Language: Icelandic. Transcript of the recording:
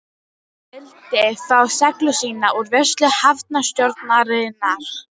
Hann vildi fá seglin sín úr vörslu hafnarstjórnarinnar.